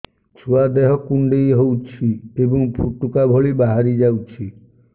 ଛୁଆ ଦେହ କୁଣ୍ଡେଇ ହଉଛି ଏବଂ ଫୁଟୁକା ଭଳି ବାହାରିଯାଉଛି